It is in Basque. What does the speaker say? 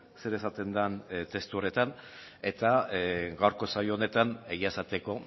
zer esaten den testu horretan eta gaurko saio honetan egia esateko